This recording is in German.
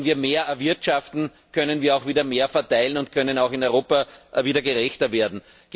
Wenn wir mehr erwirtschaften, können wir auch wieder mehr verteilen und können auch in Europa wieder gerechter werden.